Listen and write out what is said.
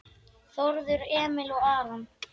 Þórður Emil og Aron